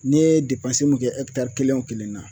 Ne ye depansi min kɛ ɛkitari kelen wo kelen na